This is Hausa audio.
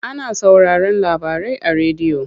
Ana sauraron labarai a rediyo.